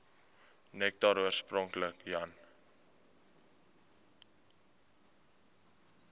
nektar oorspronklik jan